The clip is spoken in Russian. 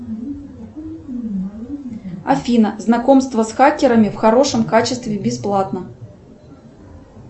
афина знакомство с хакерами в хорошем качестве бесплатно